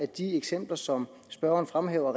de eksempler som spørgeren fremhæver